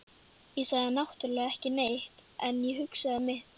Ég sagði náttúrlega ekki neitt, en ég hugsaði mitt.